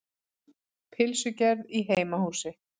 Pylsugerð í heimahúsi.